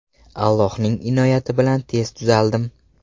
Allohning inoyati bilan tez tuzaldim.